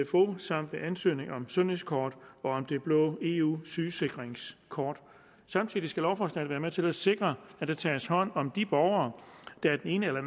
sfo samt ved ansøgning om sundhedskort og om det blå eu sygesikringskort samtidig skal lovforslaget være med til at sikre at der tages hånd om de borgere der af den ene eller